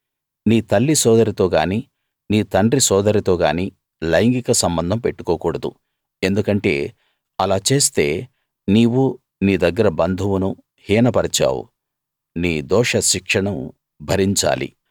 నీ తల్లి సోదరితో గాని నీ తండ్రి సోదరితో గానీ లైంగిక సంబంధం పెట్టుకోకూడదు ఎందుకంటే అలా చేస్తే నీవు నీ దగ్గర బంధువును హీన పరిచావు నీ దోషశిక్షను భరించాలి